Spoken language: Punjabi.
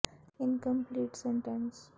ਅਤੇ ਬਹੁਤ ਸਾਰੇ ਸਿਹਤ ਦੀ ਸਮੱਸਿਆ ਨੂੰ ਇਸ ਦੇ ਨਾਲ ਸੰਬੰਧਿਤ ਹੈ